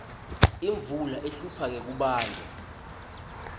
imvula ihlupha ngekubandza